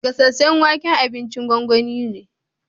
Gasasen wake abincin gongoni ne.